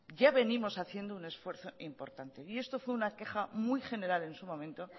ya venimos haciendo un esfuerzo importante y esto fue una queja muy general en su momento